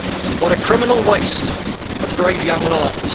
What a criminal waste of brave young lives!